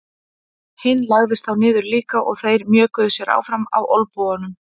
Hinn lagðist þá niður líka og þeir mjökuðu sér áfram á olnbogunum.